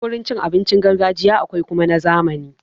Akwai wurin cin abinci na gargajiya akwai kuma na zamani.